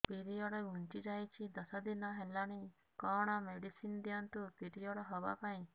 period ଘୁଞ୍ଚି ଯାଇଛି ଦଶ ଦିନ ହେଲାଣି କଅଣ ମେଡିସିନ ଦିଅନ୍ତୁ ପିରିଅଡ଼ ହଵା ପାଈଁ